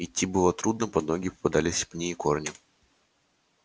идти было трудно под ноги попадались пни и корни